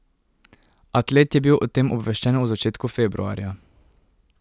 Atlet je bil o tem obveščen v začetku februarja.